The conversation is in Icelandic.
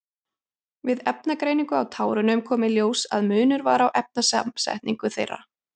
Við efnagreiningu á tárunum kom í ljós að munur var á efnasamsetningu þeirra.